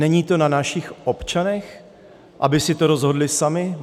Není to na našich občanech, aby si to rozhodli sami?